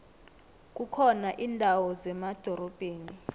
kukhona indawo zemadorobheni